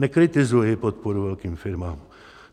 Nekritizuji podporu velkým firmám.